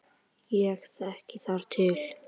Ég þekki þar til.